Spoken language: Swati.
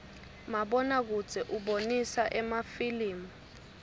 mabona kudze ubonisa emafilimu